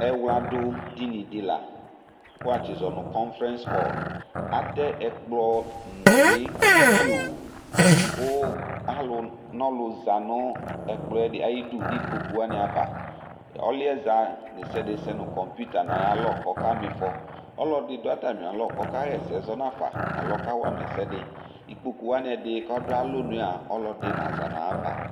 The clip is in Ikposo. Ɛwladu dini di la, kʋ watsi zɔ nu conference hall Atɛ ɛkplɔ nuli pioo , kʋ alu nɔlu zanu ɛkplɔɛ ayidu nikpoku wani'ava Ɔluɛza ɖesiaɖe sɛ nu computer nayalɔ kɔka mifɔ Ɔlɔdi du atami alɔ kɔkaɣa ɛsɛ zɔnafa alo ɔkawama ɛsɛdiIkpkku wani ɛdi kʋ ɔdʋ alonuyɛ aaa , ɔlɔdi naza nayava